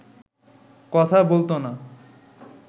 কথা বলতো না